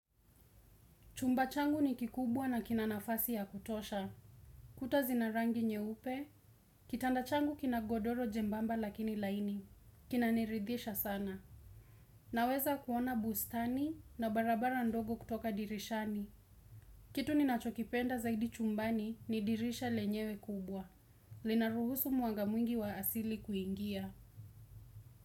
Chumba changu ni kikubwa na kina nafasi ya kutosha. Kuta zina rangi nyeupe, kitanda changu kina godoro jebamba lakini laini. Kina niridhisha sana. Naweza kuona bustani na barabara ndogo kutoka dirishani. Kitu ninachokipenda zaidi chumbani ni dirisha lenyewe kubwa. Lina ruhusu mwanga mwingi wa asili kuingia.